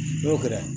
N'o kɛra